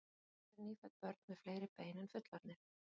Hvers vegna eru nýfædd börn með fleiri bein en fullorðnir?